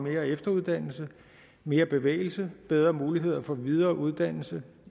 mere efteruddannelse mere bevægelse bedre mulighed for videre uddannelse